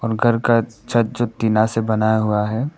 घर का छत जो टीना से बनाया हुआ है।